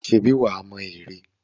Ṣèbí wà á mọ ère?